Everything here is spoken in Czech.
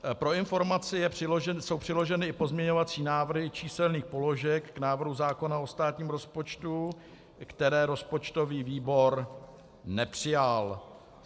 Pro informaci jsou přiloženy i pozměňovací návrhy číselných položek k návrhu zákona o státním rozpočtu, které rozpočtový výbor nepřijal.